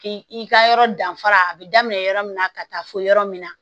K'i ka yɔrɔ danfara a bɛ daminɛ yɔrɔ min na ka taa fo yɔrɔ min na